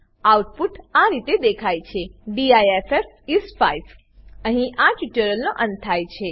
output આ રીતે દેખાય છે ડિફ ઇસ 5 અહીં આ ટ્યુટોરીયલનો અંત થાય છે